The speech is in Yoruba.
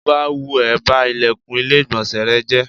Tó bá wù ẹ́, ba ìlẹ̀kùn ilé ìgbọ̀nsẹ̀ rẹ jẹ́.